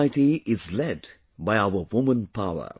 This society is led by our woman power